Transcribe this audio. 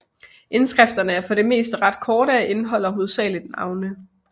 Indskrifterne er for det meste ret korte og indeholder hovedsageligt navne